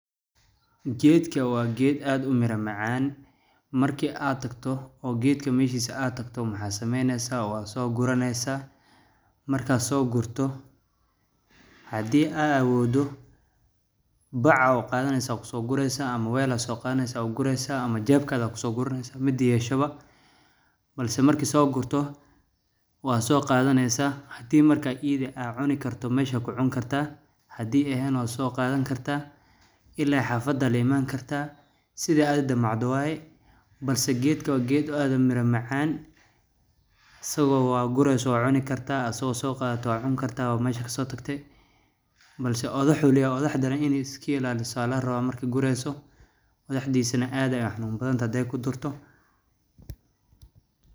Geedka waa geed aad u miro macaan markii aad tagto oo geedka meeshii si aad tagto. Maxaameyne saab soo guraneysaa markaad soo gurto haddii aa awoodu bacow qaadaneysaa ku sugnaysa ama weyl ah soo qaadaneysaa guraysa ama jeeb kaada ku sugnaysa ma diiyeeshaba. Balse markii soo gurto waa soo qaadaneysaa haddii markay iidi aad cuni karto. Mahshagu cun kartaa haddii aheyn oo soo qadan kartaa ilaa xafada limaan kartaa side aad u damacdo waayeen balse geedka waa geed aad u miro macaan. Sababi waa gurayso cuni kartaa asoo soo qaadato cun kartaa oo mahashaka soo tagtay balse oo dhaxo uley udhaxdha ini iski ilaala saalaan robo markii gurayso. odhaxdhiisana aad ayaan xanuun badan hada ku durto.